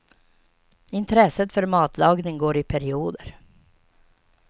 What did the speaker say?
Intresset för matlagning går i perioder.